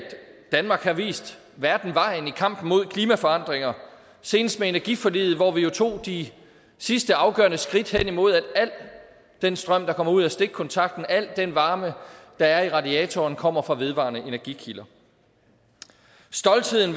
danmark har vist verden vejen i kampen mod klimaforandringer senest med energiforliget hvor vi jo tog de sidste afgørende skridt hen imod at al den strøm der kommer ud af stikkontakten og al den varme der er i radiatoren kommer fra vedvarende energi kilder stoltheden